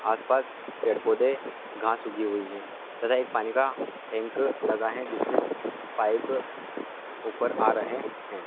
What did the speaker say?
आसपास पेड़ पौधे घास उगी हुई हैं तथा एक पानी का टैंक लगा है जिससे पाइप ऊपर आ रहे हैं।